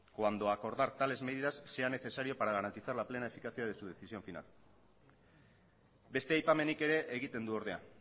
cuando acordar tales medidas sea necesario para garantizar la plena eficacia de su decisión final beste aipamenik ere egiten du ordea